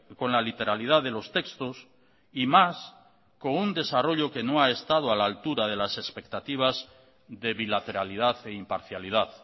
con la literalidad de los textos y más con un desarrollo que no ha estado a la altura de las expectativas de bilateralidad e imparcialidad